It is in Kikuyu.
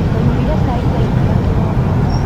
Tũnyuire cai wa iria kĩroko?